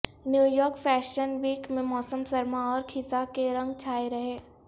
new York fashion week میں موسم سرما اور خزاں کے رنگ چھائے رہے